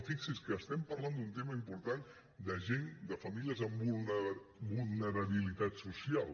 i fixin se que estem parlant d’un tema important de gent de famílies amb vulnerabilitat social